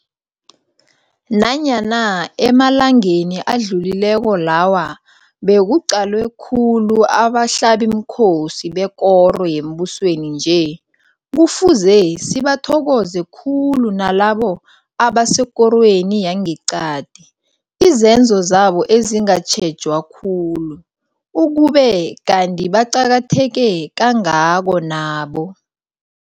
Nanyana emalanganeni adlulileko lawa bekuqalwe khulu abahlabimkhosi bekoro yembusweni nje, kufuze sibathokoze khulu nalabo abasekorweni yangeqadi, izenzo zabo ezingatjhejwa khulu, ukube kanti baqakatheke kangako nabo.